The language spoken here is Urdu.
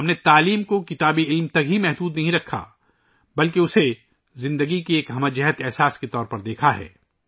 ہم نے تعلیم کو کتابی علم تک محدود نہیں رکھا بلکہ اسے زندگی کے ایک جامع تجربے کے طور پر دیکھا ہے